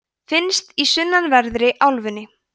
finnst í sunnanverðri álfunni